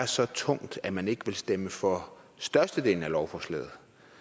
så tungt at man ikke vil stemme for størstedelen af lovforslaget